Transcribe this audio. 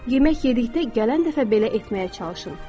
Yemək yedikdə gələn dəfə belə etməyə çalışın.